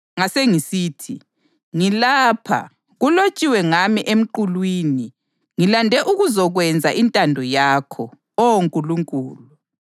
Ngasengisithi, ‘Ngilapha, kulotshiwe ngami emqulwini, ngilande ukuzokwenza intando yakho, Oh Nkulunkulu.’ + 10.7 AmaHubo 40.6-8”